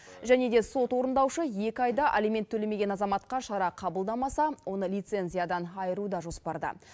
және де сот орындаушы екі айда алимент төлемеген азаматқа шара қабылдамаса оны лицензиядан айыру да жоспарда